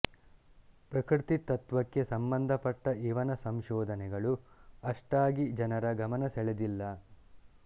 ಪ್ರಕೃತಿ ತತ್ತ್ವಕ್ಕೆ ಸಂಬಂಧಪಟ್ಟ ಇವನ ಸಂಶೋಧನೆಗಳು ಅಷ್ಟಾಗಿ ಜನರ ಗಮನ ಸೆಳೆದಿಲ್ಲ